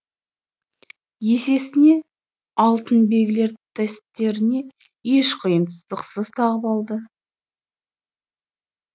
есесіне алтын белгілер төстеріне еш қиындықсыз тағып алды